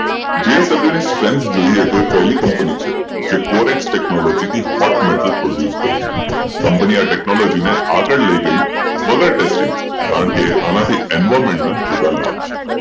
JSWstrenght જોઈએ તો એ પહેલી કંપની છે જે cotex Technology hot metal produce કરે છે કંપની આ ટેક્નોલોજીને આગળ લઈ ગઈ વગર ટેસ્ટિંગ કારણ કે આનાથી એન્વાયરમેન્ટ ના જોરદાર લાભ છે